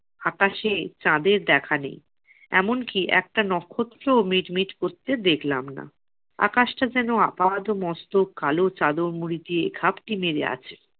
আকাশে চাঁদের দেখা নেই, এমনকি একটা নক্ষত্রও মিট মিট করতে দেখলাম না। আকাশটা যেন আপদ-মস্তক কালো চাদর মুড়ি দিয়ে ঘাপটি মেরে আছে।